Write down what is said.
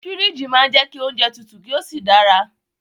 Fíríjì máa ń jẹ́ kí oúnjẹ tutù kí ó sì dára